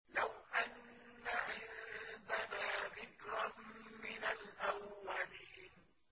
لَوْ أَنَّ عِندَنَا ذِكْرًا مِّنَ الْأَوَّلِينَ